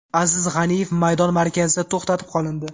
Aziz G‘aniyev maydon markazida to‘xtatib qolindi.